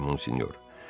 Bəli, Monsinyor.